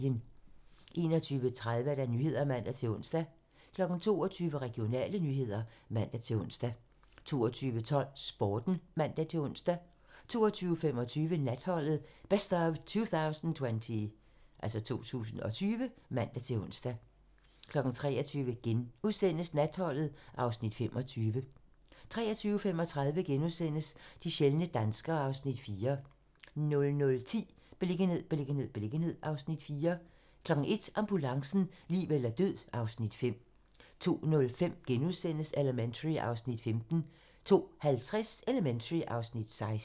21:30: Nyhederne (man-ons) 22:00: Regionale nyheder (man-ons) 22:12: Sporten (man-ons) 22:25: Natholdet - Best of 2020 (man-ons) 23:00: Natholdet (Afs. 25)* 23:35: De sjældne danskere (Afs. 4)* 00:10: Beliggenhed, beliggenhed, beliggenhed (Afs. 4) 01:00: Ambulancen - liv eller død (Afs. 5) 02:05: Elementary (Afs. 15)* 02:50: Elementary (Afs. 16)